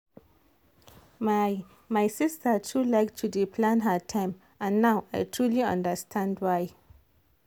my my sister too like to dey plan her time and now i truly understand why.